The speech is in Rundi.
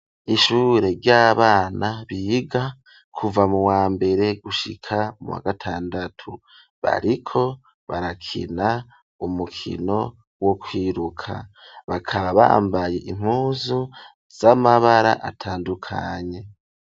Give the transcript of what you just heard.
Ishure ry'abana biga kuva mu wa mbere gushika muwa gatandatu. Bariko barakina umukino wo kwiruka. Bakaba bambaye impuzu z'amabara atandukanye.